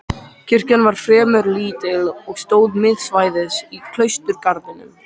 Kirkjan var fremur lítil og stóð miðsvæðis í klausturgarðinum.